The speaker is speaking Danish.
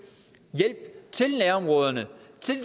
hjælp til nærområderne